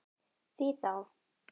Því þá?